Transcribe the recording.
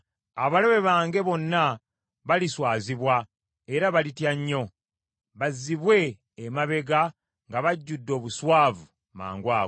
Abalabe bange bonna baliswazibwa era balitya nnyo; bazzibwe emabega nga bajjudde obuswavu mangu ago.